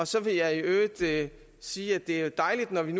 så vil jeg i øvrigt sige at det er dejligt at vi